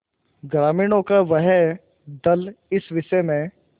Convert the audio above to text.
ग्रामीणों का वह दल इस विषय में